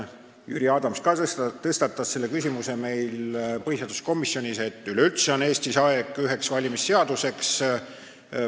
Jüri Adams ka tõstatas põhiseaduskomisjonis küsimuse, et üleüldse on Eestis aeg üheks valimisseaduseks.